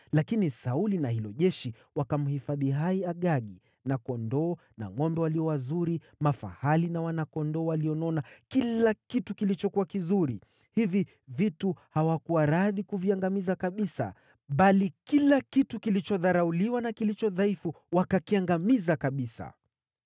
Lakini Sauli na hilo jeshi wakamhifadhi hai Agagi na kondoo na ngʼombe walio wazuri, mafahali na wana-kondoo walionona kila kitu kilichokuwa kizuri. Hivi vitu hawakuwa radhi kuviangamiza kabisa, bali kila kitu kilichodharauliwa na kilicho dhaifu wakakiangamiza kabisa.